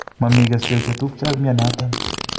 Mami keswek chetupcha ak mianatan